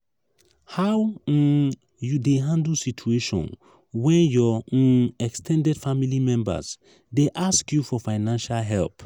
how um you dey handle situation when your um ex ten ded family members dey ask you for financial help? um